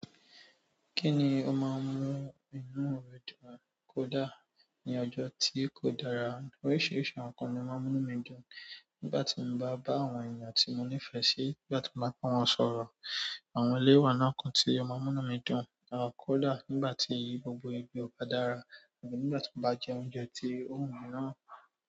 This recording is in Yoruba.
Kí ni ó máa ń mú inú rẹ dùn kódà ní ọjọ́ tí kò dára? Oríṣiríṣi àwọn ǹkan ni ó máa ń mú inú mi dùn. Nígbà tí mo bá bá àwọn èyàn tí mo nífẹ̀ẹ́ sí, nígbà tí mo bá ba wọn sọ̀rọ̀, àwọn eleyi owá nínú awo nkan ti omá mú inú mi dùn, à kódà nígbà tí gbogbo ibi ò bá dára, àbí nígbà tí mo bá jẹ oúnjẹ tí ó ń wu mi lowo.